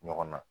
Ɲɔgɔn na